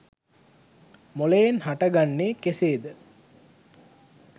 මොලයෙන් හට ගන්නේ කෙසේද